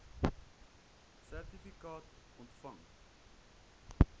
sertifikaat ontvang